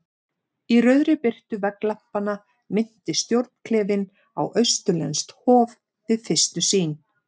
Í rauðri birtu vegglampanna minnti stjórnklefinn á austurlenskt hof- við fyrstu sýn.